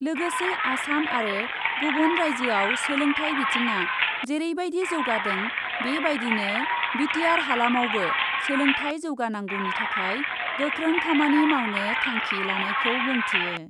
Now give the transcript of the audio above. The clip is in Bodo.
लोगोसे आसाम आरो गुबुन राइज्योआव सोलोंथाइ बिथिंआ जेरैबायदि जौगादों बे बायदिनो बि टि आर हालामावबो सोलोंथाइ जौगानांगौनि थाखाय गोख्रों खामानि मावनो थांखि लानायखौ बुंथियो ।